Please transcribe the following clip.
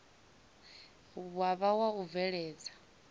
wa vha wa u bveledza